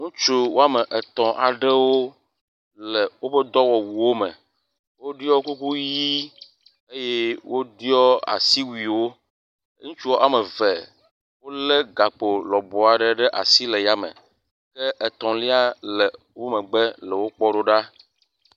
Ŋutsu wɔme etɔ̃ aɖewo le woƒe dɔwɔwuwo me. woɖɔ kuku ʋi eye woɖɔ asiwuiwo. Ŋutsu wɔme eve wo le gakpo lɔbɔ aɖe ɖe asi le yame ke etɔ̃lia le wo megbe le wokpɔm ɖo ɖa.